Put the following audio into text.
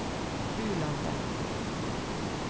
Bulandet